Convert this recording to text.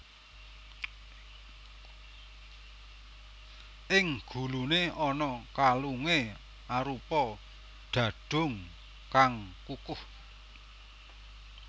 Ing guluné ana kalungé arupa dhadhung kang kukuh